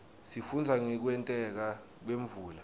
sifundza ngekwenteka kwemvula